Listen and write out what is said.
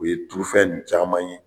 U ye turufɛn nin caman ye